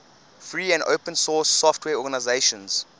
free and open source software organizations